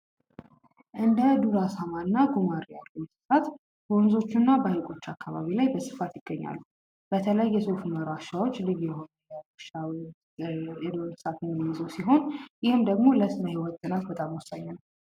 እንደ ዱር አሳማ እና ጉማሬ ያሉ እንስሳት በወንዞች እና በሀይቆች አካባቢ በስፋት ይገኛሉ። በተለይ የሶፍ ኡመር ዋሻዎች ልዩ የሆነ የዱር እንስሳትን የሚይዙ ሲሆን ይህ ደግሞ ለስነ ህይወት ጥናት በጣም ወሳኝ ነው።